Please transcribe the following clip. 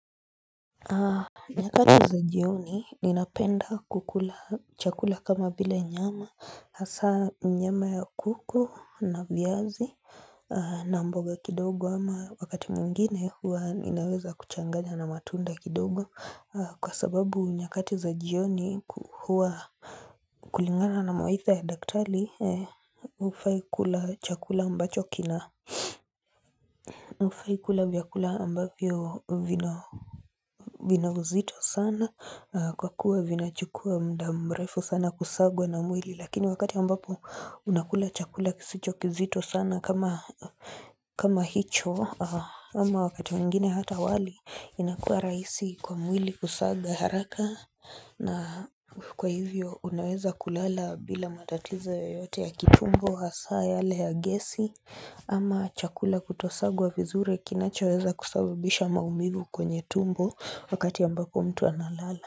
Nyakati za jioni ninapenda kukula chakula kama vile nyama hasa nyama ya kuku na viazi na mboga kidogo ama wakati mwingine huwa ninaweza kuchanganya na matunda kidogo kwa sababu nyakati za jioni huwa kulingana na mawaidha ya daktari hufai kula chakula ambacho kina hufai kula vyakula ambavyo vina vina uzito sana kwa kuwa vinachukua muda mrefu sana kusagwa na mwili lakini wakati ambapo unakula chakula kisicho kizito sana kama hicho ama wakati mingine hata wali inakuwa rahisi kwa mwili kusaga haraka na kwa hivyo unaweza kulala bila matatizo yoyote ya kitumbo, hasa yale ya gesi Ama chakula kutosagwa vizuri kinachoweza kusababisha maumivu kwenye tumbo wakati ambapo mtu analala.